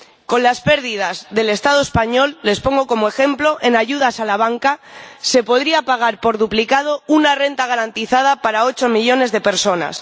Con las pérdidas del Estado español —les pongo como ejemplo— en ayudas a la banca, se podría pagar por duplicado una renta garantizada para ocho millones de personas.